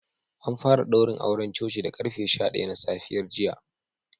An fara daurin auren coci da karfe sha daya na safiyar jiya